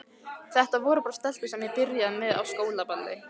Þetta voru bara stelpur sem ég byrjaði með á skólaballi.